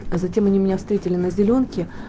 а затем они меня встретили на зелёнке